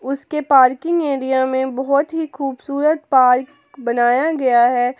उसके parking area में बहुत ही खूबसूरत पार्क बनाया गया है।